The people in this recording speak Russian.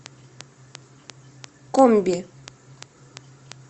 комби